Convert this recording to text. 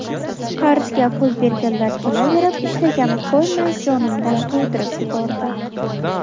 Qarzga pul berganlar kelaverib, ishlagani qo‘ymay, jonimdan to‘ydirib yubordi.